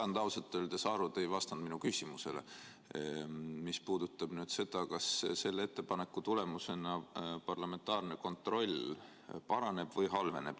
Ma ei saanud ausalt öeldes aru, te ei vastanud minu küsimusele, mis puudutab seda, kas selle ettepaneku tulemusena parlamentaarne kontroll paraneb või halveneb.